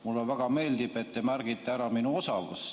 Mulle väga meeldib, et te märgite ära minu osavuse.